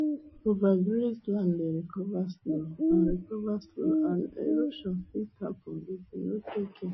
overgrazed land dey recover slow and recover slow and erosion fit happen if you no take care